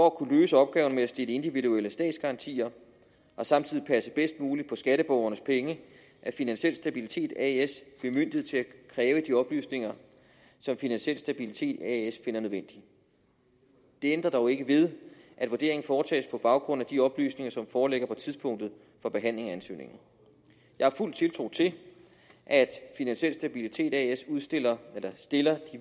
at kunne løse opgaven med at stille individuelle statsgarantier og samtidig passe bedst muligt på skatteborgernes penge er finansiel stabilitet as bemyndiget til at kræve de oplysninger som finansiel stabilitet as finder nødvendige det ændrer dog ikke ved at vurderingen foretages på baggrund af de oplysninger som foreligger på tidspunktet for behandlingen af ansøgningen jeg har fuld tiltro til at finansiel stabilitet as stiller de